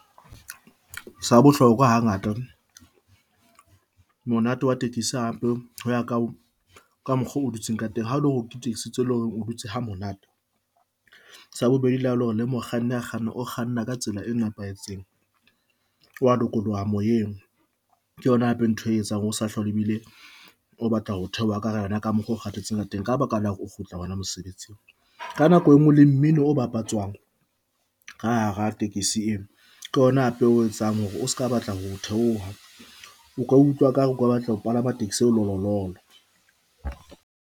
Sa bohlokwa ha ngata monate wa tekesi hape ho ya ka ka mokgwa o dutse ka teng ha o lo le hore o dutse ha monate, sa bobedi la hao le hore le mokganni a kgannang o kganna ka tsela e nepahetseng wa lokoloha moyeng. Ke yona hape ntho e etsang hore o sa hlole ebile o batla ho theoha ka hara yona ka mokgo o kgathetseng teng ka baka la hore o kgutla hona mosebetsing. Ka nako engwe le mmino o bapatswang ka hara tekesi eo ke yona hape o etsang hore o se ka batla ho theoha o ka utlwa e ka re o ka batla ho palama taxi eo le lololo.